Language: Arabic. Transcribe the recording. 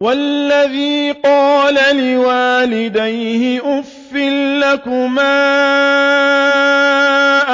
وَالَّذِي قَالَ لِوَالِدَيْهِ أُفٍّ لَّكُمَا